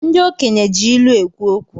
Ndi okenye ji ilu ekwu okwu